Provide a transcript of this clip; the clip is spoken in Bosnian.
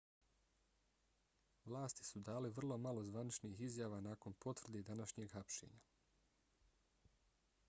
vlasti su dale vrlo malo zvaničnih izjava nakon potvrde današnjeg hapšenja